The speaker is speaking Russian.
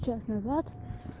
час назад